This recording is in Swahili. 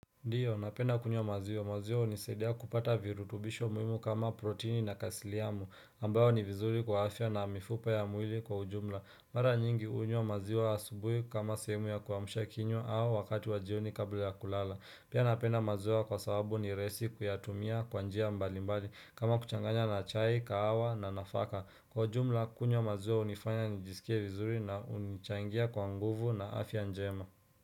Ndiyo, napenda kunywa maziwa, maziwa hunisaidia kupata virutubisho muhimu kama proteini na kasiliamu, ambayo ni vizuri kwa afya na mifupa ya mwili kwa ujumla. Mara nyingi hunywa maziwa asubuhi kama sehemu ya kuamsha kinywa au wakati wa jioni kabla ya kulala. Pia napenda maziwa kwa sababu ni rahisi kuyatumia kwa njia mbali mbali kama kuchanganya na chai, kahawa na nafaka. Kwa ujumla, kunywa maziwa hunifanya nijisikie vizuri na hunichangia kwa nguvu na afya njema.